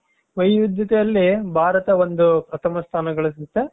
ವೈವಿಧ್ಯತೆಯಲ್ಲಿ ಭಾರತ ಒಂದು ಪ್ರಥಮ ಸ್ಥಾನ ಗಳಿಸುತ್ತೆ.